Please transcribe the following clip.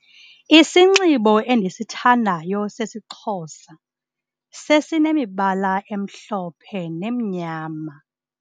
Isinxibo endisithandayo sesiXhosa sesinemibala emhlophe nemnyama.